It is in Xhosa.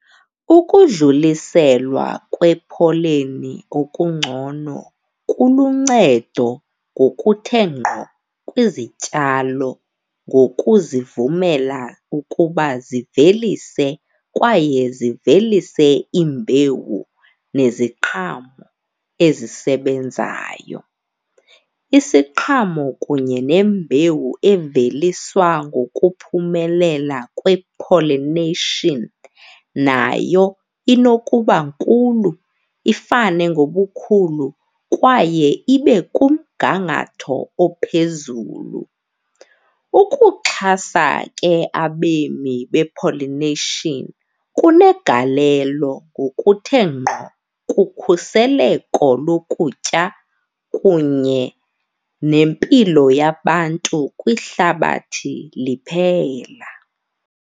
Ukudluliselwa kwepholeni ngokungcono kuluncedo ngokuthe gqo kwizityalo ngokuzivumela ukuba zivelise kwaye zivelise imbewu neziqhamo ezisebenzayo. Isiqhamo kunye nembewu eveliswa ngokuphumelela kwe-pollination nayo inokuba nkulu ifane ngobukhulu kwaye ibe kumgangatho ophezulu. Ukuxhasa ke abemi be-pollination kunegalelo ngokuthe ngqo kukhuseleko lokutya kunye nempilo yabantu kwihlabathi liphela.